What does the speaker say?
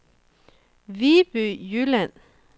Viby Jylland